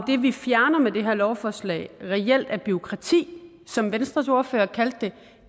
det vi fjerner med det her lovforslag reelt er bureaukrati som venstres ordfører kaldte det